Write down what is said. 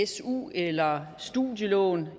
su eller studielån